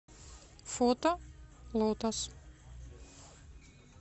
фото лотос